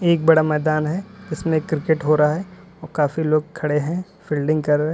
एक बड़ा मैदान है इसमें क्रिकेट हो रहा है और काफी लोग खड़े हैं फील्डिंग कर रहे हैं।